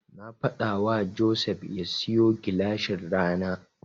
Na faɗawa Joseph ya siyo gilashin rana.